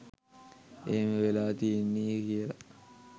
එහෙම වෙලා තියෙන්නේ කියලා